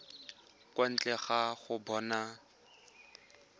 kwa ntle ga go bona